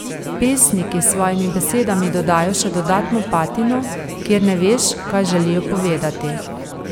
Pesniki s svojimi besedami dodajo še dodatno patino, kjer ne veš, kaj želijo povedati.